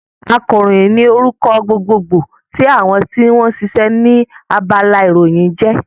Akàròyìn ní orúkọ gbogbo gbò tí àwọn tí wọ́n sisẹ́ ní abala ìròyìn ń jẹ́